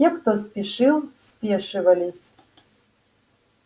те кто спешил спешивались